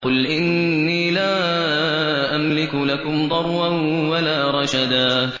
قُلْ إِنِّي لَا أَمْلِكُ لَكُمْ ضَرًّا وَلَا رَشَدًا